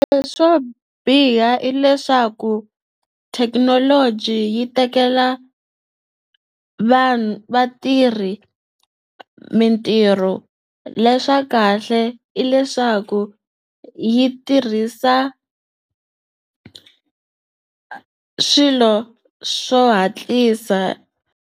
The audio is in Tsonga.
Leswo biha i leswaku thekinoloji yi tekela vanhu vatirhi mintirho leswa kahle i leswaku yi tirhisa swilo swo hatlisa.